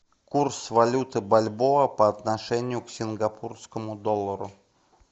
курс валюты бальбоа по отношению к сингапурскому доллару